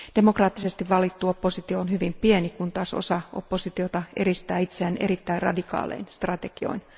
Demokraattisesti valittu oppositio on hyvin pieni, kun taas osa oppositiota eristää itseään erittäin radikaalein strategioin.